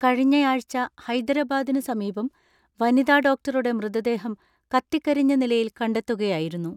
കഴിഞ്ഞയാഴ്ച ഹൈദരാബാദിന് സമീപം വനിതാ ഡോക്ടറുടെ മൃതദേഹം കത്തിക്കരിഞ്ഞ നിലയിൽ കണ്ടെത്തുകയായിരുന്നു.